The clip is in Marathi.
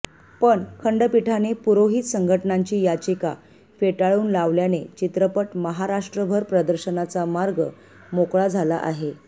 पण खंडपीठाने पुरोहित संघटनांची याचिका फेटाळून लावल्याने चित्रपट महाराष्ट्राभर प्रदर्शनाचा मार्ग मोकळा झाला आहे